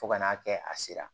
Fo ka n'a kɛ a sera